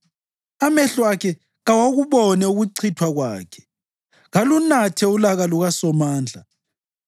Amehlo akhe kawakubone ukuchithwa kwakhe; kalunathe ulaka lukaSomandla.